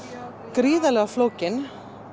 gríðarlega flókin